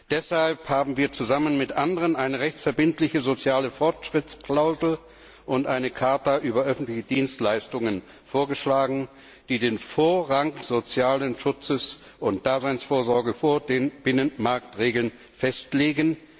Deshalb haben wir zusammen mit anderen eine rechtsverbindliche Klausel für den sozialen Fortschritt und eine Charta über öffentliche Dienstleistungen vorgeschlagen, die den Vorrang des sozialen Schutzes und der Daseinsvorsorge vor den Binnenmarktregeln festlegen.